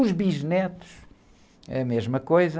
Os bisnetos, a mesma coisa.